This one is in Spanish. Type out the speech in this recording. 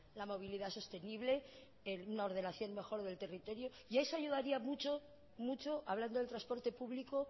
la movilidad sostenible una ordenación mejor del territorio y a eso ayudaría mucho mucho hablando del transporte público